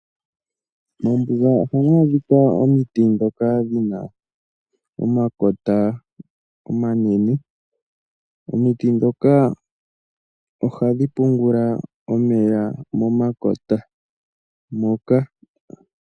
Mombuga oha mwadhika omiti ndhoka dhina omakota omanene, omiti ndhoka ohadhi pungula omeya momakota moka.